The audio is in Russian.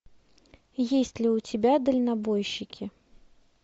есть ли у тебя дальнобойщики